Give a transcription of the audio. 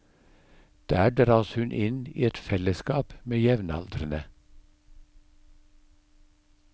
Der dras hun inn i et fellesskap med jevnaldrende.